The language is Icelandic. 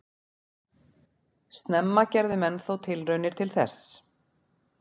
Snemma gerðu menn þó tilraunir til þess.